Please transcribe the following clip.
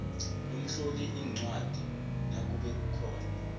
lomhloliincwadi nakube ukhona